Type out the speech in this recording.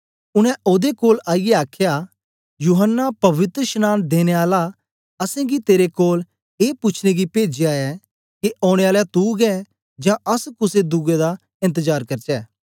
उनै ओदे कोल आईयै आखया यूहन्ना पवित्रशनांन देने आले असेंगी तेरे कोल ए पूछने गी पेजया ऐ के के औने आला तू गै ऐं जां अस कुसे दुए दा एन्तजार करचै